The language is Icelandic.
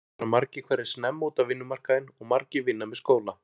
Unglingar fara margir hverjir snemma út á vinnumarkaðinn og margir vinna með skóla.